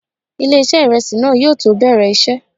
Ilé-iṣẹ́ ìrẹsì náà yóò tó bẹ̀rẹ̀ iṣẹ́.